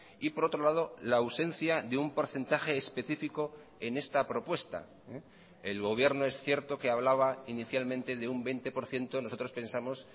y por otro lado la ausencia de un porcentaje específico en esta propuesta el gobierno es cierto que hablaba inicialmente de un veinte por ciento nosotros pensamos